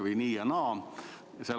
Kas nii või naa.